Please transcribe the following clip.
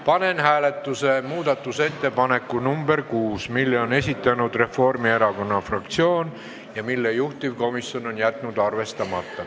Panen hääletusele muudatusettepaneku nr 6, mille on esitanud Reformierakonna fraktsioon ja mille juhtivkomisjon on jätnud arvestamata.